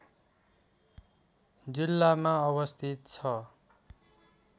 जिल्लामा अवस्थित छ